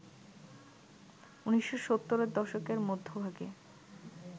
১৯৭০ এর দশকের মধ্যভাগে